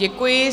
Děkuji.